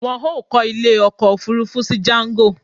Wọn ó kọ ilé ọkọ̀ Òfurufú sí jango